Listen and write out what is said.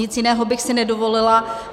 Nic jiného bych si nedovolila.